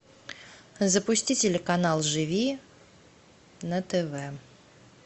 запусти телеканал живи на тв